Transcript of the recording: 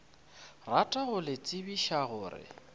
rata go le tsebiša gore